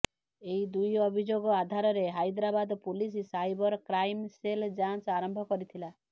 ଏହି ଦୁଇ ଅଭିଯୋଗ ଆଧାରରେ Hyderabad police cyber crime cell ଯାଞ୍ଚ ଆରମ୍ଭ କରିଥିଳା